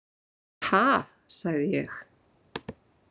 Ha, sagði ég.